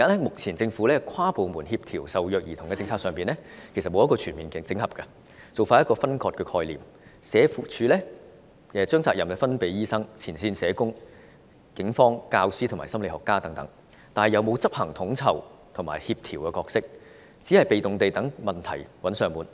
目前政府跨部門協調受虐兒童的政策其實沒有全面整合，做法仍是分割的概念，社署把責任推給醫生、前線社工、警方、教師和心理學家等，但卻沒有發揮統籌和協調的角色，只有被動地待問題"找上門"。